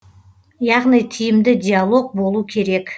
яғни тиімді диалог болу керек